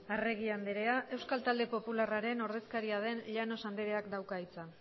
arregi andrea euskal talde popularraren ordezkaria den llanos andreak dauka hitza